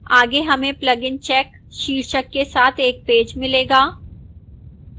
आगे हमें plugins check शीर्षक के साथ एक पेज मिलेगा